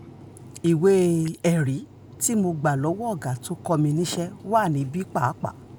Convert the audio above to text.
ìwé-ẹ̀rí tí mo gbà lọ́wọ́ ọ̀gá tó kọ́ mi níṣẹ́ wà níbí pàápàá